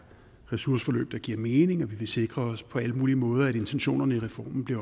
ressourceforløb der giver mening og vi vil sikre os på alle mulige måder at intentionerne i reformen bliver